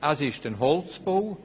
Es ist ein Holzbau.